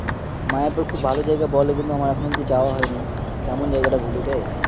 মায়াপুর খুব ভালো জায়গা বলে কিন্তু আমার এখন অব্দি যাওয়া হয়নি। কেমন জায়গাটা বলবি